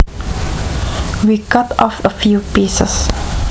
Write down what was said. We cut off a few pieces